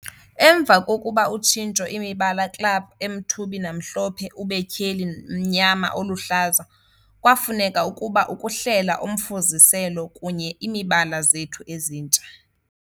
"Emva kokuba utshintsho imibala club emthubi namhlophe ube tyheli mnyama oluhlaza, kwafuneka ukuba ukuhlela Umfuziselo kunye imibala zethu ezintsha.